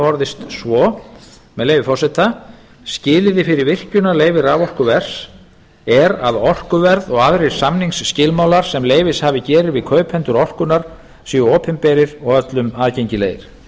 orðist svo með leyfi forseta skilyrði fyrir virkjunarleyfi raforkuvers er að orkuverð og aðrir samningsskilmálar sem leyfishafi gerir við kaupendur orkunnar séu opinberir og öllum aðgengilegir